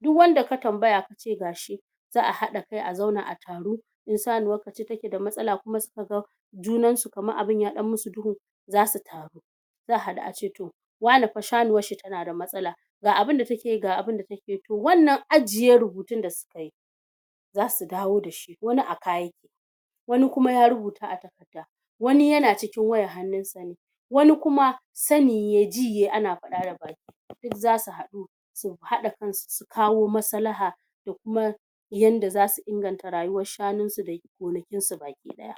duk wanda ka tambaya kace ga shi za'a haɗa kai a zauna a taru ko sanuwar ka ce take da matsala kuma suka ga junan su kaman abun ya ɗan yi mu su duhu zasu taru za'a haɗu a ce to wane fa shanuwar shi tana da matsala ga abunda take yi ga abunda take yi, to wannan ajiye rubutun da suka yi zasu dawo da shi wani a kai wani kuma ya rubuta a takarda wani yana cikin wayar hannun sa ne wani kuma sani yayi, ji yayi ana faɗa da baki, duk zasu haɗu su haɗa kan su su sukawo maslaha da kuma yanda zasu inganta rayuwar shanun su da gonakin su baki ɗaya